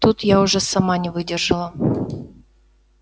тут я уже сама не выдержала